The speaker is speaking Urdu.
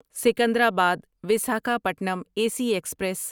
Secunderabad Visakhapatnam A C express